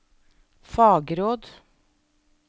fagråd